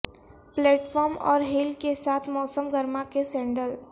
plate form اور heel کے ساتھ موسم گرما کے سینڈل